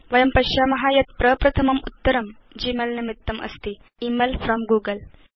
वयं पश्याम यत् प्रप्रथम म उत्तरं g मेल निमित्तमस्ति थे इमेल फ्रॉम् गूगल